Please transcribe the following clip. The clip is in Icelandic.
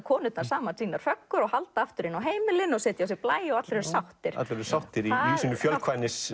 konurnar saman sínar föggur og halda aftur inn á heimilin og setja á sig blæju og allir eru sáttir allir eru sáttir í sínu